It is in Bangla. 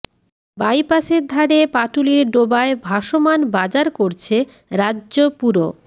বাইপাসের ধারে পাটুলির ডোবায় ভাসমান বাজার করছে রাজ্য পুর